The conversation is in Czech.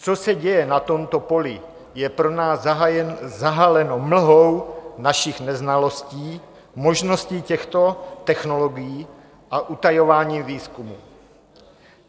Co se děje na tomto poli, je pro nás zahaleno mlhou našich neznalostí, možností těchto technologií a utajování výzkumu.